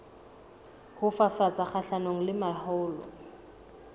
ho fafatsa kgahlanong le mahola